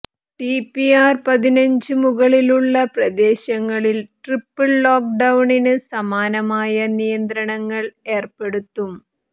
TPR പതിനഞ്ചിന് മുകളിലുള്ള പ്രദേശങ്ങളിൽ ട്രിപ്പിൾ ലോക്ക്ഡൌണിന് സമാനമായ നിയന്ത്രണങ്ങൾ ഏർപ്പെടുത്തും